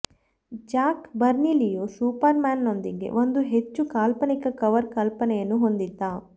Jack ಬರ್ನ್ಲಿಯು ಸೂಪರ್ಮ್ಯಾನ್ನೊಂದಿಗೆ ಒಂದು ಹೆಚ್ಚು ಕಾಲ್ಪನಿಕ ಕವರ್ ಕಲ್ಪನೆಯನ್ನು ಹೊಂದಿದ್ದ